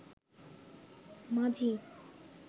মাঝি